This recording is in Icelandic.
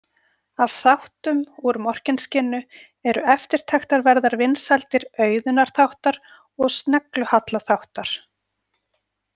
Af þáttum úr Morkinskinnu eru eftirtektarverðar vinsældir Auðunar þáttar og Sneglu- Halla þáttar.